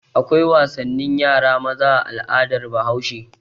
Akwai wasannin yara maza a al'adar Bahaushe.